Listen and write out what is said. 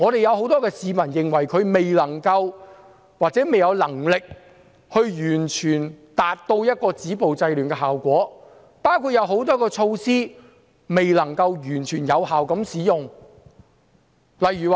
有很多市民認為她未能或未有能力完全達到止暴制亂的效果，包括很多措施未能完全有效地使用。